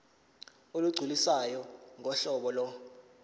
olugculisayo ngohlobo lo